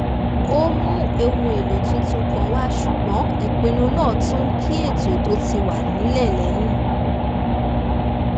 ó mú ohun èlò tuntun kan wá ṣùgbọ́n ìpinnu náà tún kín ètò tó ti wà nílẹ̀ lẹ́yìn